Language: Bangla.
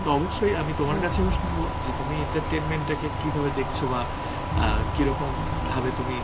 তো অবশ্যই আমি তোমার কাছেও শুনবো যে তুমি entertainment টাকে কিভাবে দেখছো বা অ্যাঁ কিরকম ভাবে তুমি